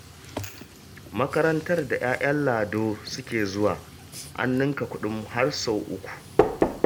Makarantar da 'ya'yan Lado suke zuwa, an ninka kuɗin har sau uku